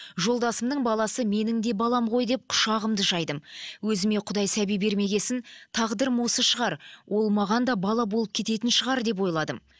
жолдасымның баласы менің де балам ғой деп құшағымды жайдым өзіме құдай сәби бермеген соң тағдырым осы шығар ол маған да бала болып кететін шығар деп ойладым